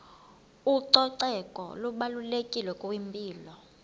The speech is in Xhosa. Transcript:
ucoceko lubalulekile kwimpilo